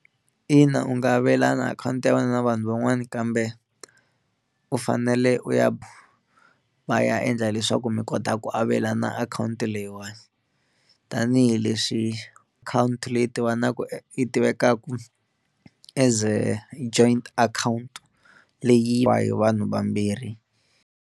Ina u nga avelana akhawunti ya wena na vanhu van'wana kambe u fanele u ya va ya endla leswaku mi kota ku avelana akhawunti leyiwani tanihileswi akhawunti leyi tivanaku yi tivekaku as joint account leyi va hi vanhu vambirhi.